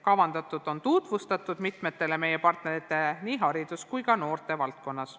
Kavandatut on tutvustatud mitmetele meie partneritele nii haridus- kui ka noortevaldkonnas.